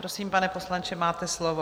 Prosím, pane poslanče, máte slovo.